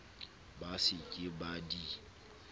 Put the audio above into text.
ba se ke ba di